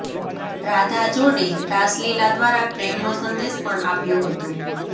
રાધા જોડે રાસલીલા દ્વારા પ્રેમનો સંદેશ પણ આપ્યો હતો